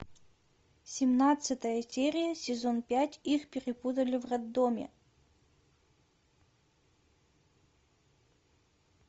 семнадцатая серия сезон пять их перепутали в роддоме